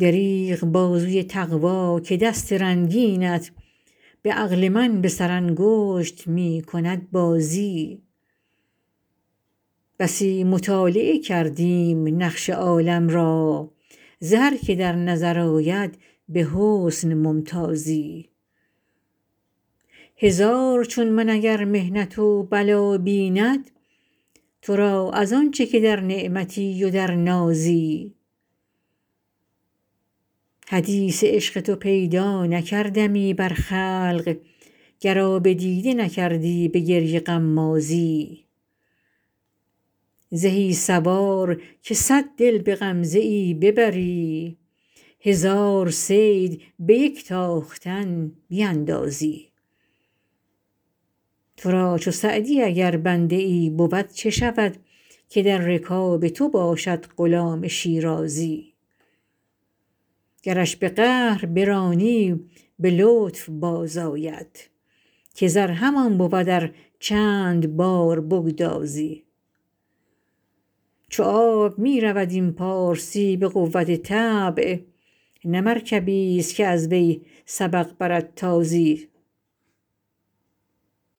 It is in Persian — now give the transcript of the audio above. دریغ بازوی تقوا که دست رنگینت به عقل من به سرانگشت می کند بازی بسی مطالعه کردیم نقش عالم را ز هر که در نظر آید به حسن ممتازی هزار چون من اگر محنت و بلا بیند تو را از آن چه که در نعمتی و در نازی حدیث عشق تو پیدا نکردمی بر خلق گر آب دیده نکردی به گریه غمازی زهی سوار که صد دل به غمزه ای ببری هزار صید به یک تاختن بیندازی تو را چو سعدی اگر بنده ای بود چه شود که در رکاب تو باشد غلام شیرازی گرش به قهر برانی به لطف بازآید که زر همان بود ار چند بار بگدازی چو آب می رود این پارسی به قوت طبع نه مرکبیست که از وی سبق برد تازی